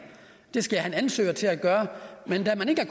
det skal jeg have en ansøger til at gøre men da man ikke